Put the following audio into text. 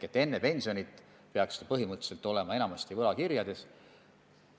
Enne pensioni peaks vara põhimõtteliselt olema enamasti võlakirjades.